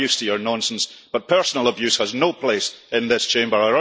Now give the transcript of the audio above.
We are used to your nonsense, but personal abuse has no place in this Chamber.